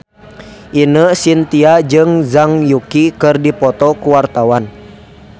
Ine Shintya jeung Zhang Yuqi keur dipoto ku wartawan